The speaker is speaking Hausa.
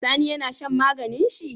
Sani yAna shan maganin shi?